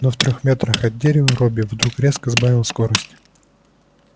но в трёх метрах от дерева робби вдруг резко сбавил скорость